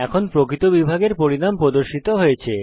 এখন প্রকৃত বিভাগের পরিণাম প্রদর্শিত হয়েছে